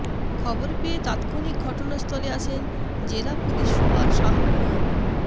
খবর পেয়ে তাৎক্ষণিক ঘটনাস্থলে আসেন জেলা পুলিশ সুপার শাহ মো